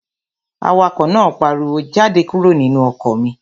Awakọ̀ náà pariwo, "Jáde kúrò nínú ọkọ̀ mi!"